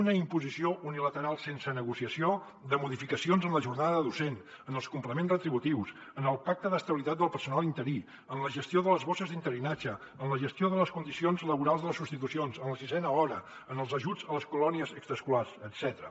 una imposició unilateral sense negociació de modificacions en la jornada docent en els complements retributius en el pacte d’estabilitat del personal interí en la gestió de les bosses d’interinatge en la gestió de les condicions laborals de les substitucions en la sisena hora en els ajuts a les colònies extraescolars etcètera